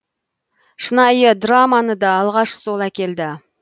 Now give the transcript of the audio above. шынайы драманы да алғаш сол әкелді